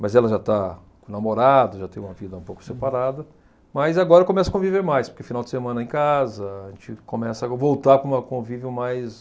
mas ela já está com namorado, já tem uma vida um pouco separada, mas agora começa a conviver mais, porque final de semana é em casa, a gente começa a voltar para uma convívio mais...